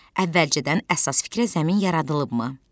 Əvvəlcədən əsas fikrə zəmin yaradılıbmı?